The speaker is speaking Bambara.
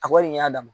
A kɔni y'a dama